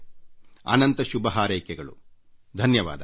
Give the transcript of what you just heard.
ನಿಮ್ಮೆಲ್ಲರಿಗೂ ಶುಭ ಹಾರೈಕೆಗಳು ಧನ್ಯವಾದ